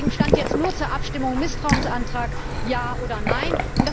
Deswegen stand jetzt nur zur Abstimmung Misstrauensantrag ja oder nein.